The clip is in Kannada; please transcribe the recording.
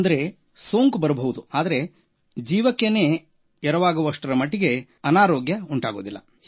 ಅಂದರೆ ಸೋಂಕು ಬರಬಹುದು ಆದರೆ ಜೀವಕ್ಕೆ ಎರವಾಗುವಷ್ಟರ ಮಟ್ಟಿಗೆ ಅನಾರೋಗ್ಯ ಉಂಟಾಗುವುದಿಲ್ಲ